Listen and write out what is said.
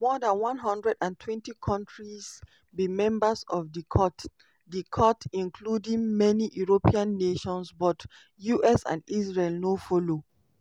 more dan 120 countries be members of di court di court including many european nations but us and israel no follow.